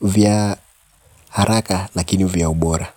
vya haraka lakini vya ubora.